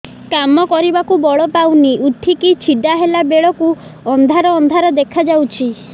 କାମ କରିବାକୁ ବଳ ପାଉନି ଉଠିକି ଛିଡା ହେଲା ବେଳକୁ ଅନ୍ଧାର ଅନ୍ଧାର ଦେଖା ଯାଉଛି